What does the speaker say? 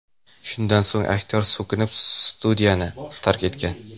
Shundan so‘ng aktyor so‘kinib, studiyani tark etgan.